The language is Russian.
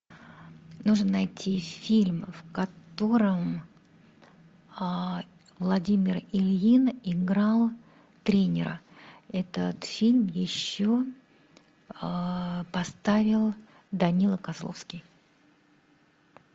нужно найти фильм в котором владимир ильин играл тренера этот фильм еще поставил данила козловский